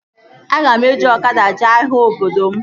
Aga m eji ọkada jee ahịa obodo m